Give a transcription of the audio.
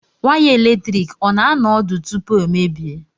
Waya eletrik ọ na-anọ ọdụ tupu o emebie?